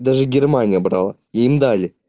даже германия брала и им дали